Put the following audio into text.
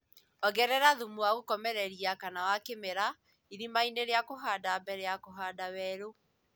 Ongerera thumu wa gũkomereria kana wa kĩmerera irimainĩ ria kuhanda mbere ya kũhanda weru